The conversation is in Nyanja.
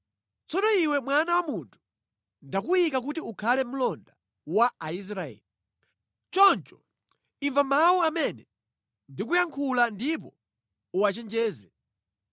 “Tsono iwe mwana wa munthu, ndakuyika kuti ukhale mlonda wa Aisraeli. Choncho imva mawu amene ndikuyankhula ndipo uwachenjeze.